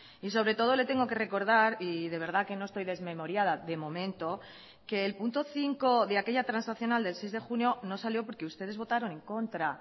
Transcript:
y sobre todo le tengo que recordar y de verdad que no estoy desmemoriada de momento que el punto cinco de aquella transaccional del seis de junio no salió porque ustedes votaron en contra